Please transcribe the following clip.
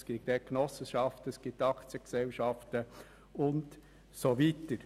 Unter diesen gibt es Genossenschaften, Aktiengesellschaften und so weiter.